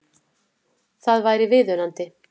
Það væri viðunandi